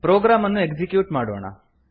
program ಅನ್ನು execute ಮಾಡೋಣ